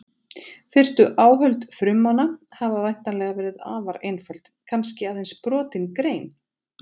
Fyrstu áhöld frummanna hafa væntanlega verið afar einföld, kannski aðeins brotin grein.